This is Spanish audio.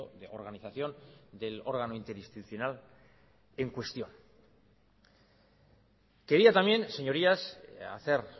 de organización del órgano interinstitucional en cuestión quería también señorías hacer